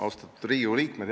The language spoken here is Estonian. Austatud Riigikogu liikmed!